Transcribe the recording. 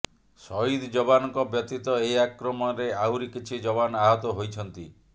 ସହିଦ ଯବାନଙ୍କ ବ୍ୟତୀତ ଏହି ଆକ୍ରମଣରେ ଆହୁରି କିଛି ଯବାନ ଆହତ ହୋଇଛନ୍ତି